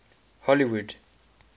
hollywood